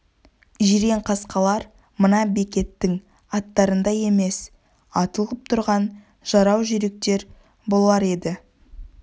жирен қасқалар мына бекеттің аттарындай емес атылып тұрған жарау жүйріктер болар еді